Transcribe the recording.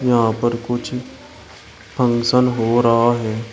यहां पर कुछ फंक्शन हो रहा है।